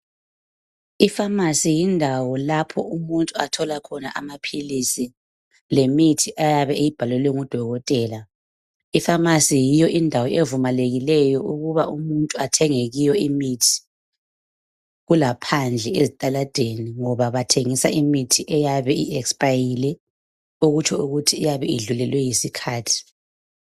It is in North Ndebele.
Ipharmacy yindawo lapho umuntu athola khona amaphilisi lemithi ayabe eyibhalelwe ngudokotela. Ipharmacy yiyo indawo evumalekileyo ukuba umuntu athenge kuyo imithi, kulaphandle ezitaladeni ngoba bathengisa imithi eyabe iexpayile okutsho ukuthi iyabe idlulelwe yisikhathi.